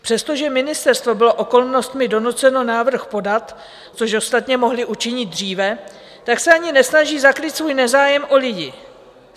Přestože ministerstvo bylo okolnostmi donuceno návrh podat, což ostatně mohli učinit dříve, tak se ani nesnaží zakrýt svůj nezájem o lidi.